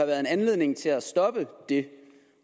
været en anledning til at stoppe det